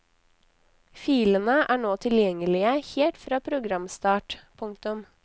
Filene er nå tilgjengelige helt fra programstart. punktum